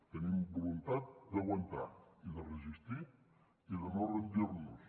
tenim voluntat d’aguantar i de resistir i de no rendir nos